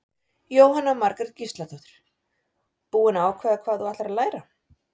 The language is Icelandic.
Jóhanna Margrét Gísladóttir: Búin að ákveða hvað þú ætlar að læra?